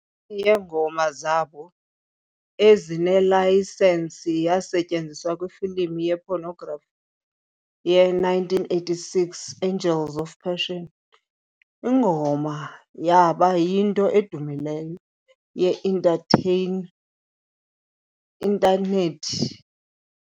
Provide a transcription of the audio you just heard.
yeengoma zabo ezinelayisensi yasetyenziswa kwifilimu ye-pornography ye-1986 "Angels of Passion". Ingoma yaba yinto edumileyo ye-entertain intanethi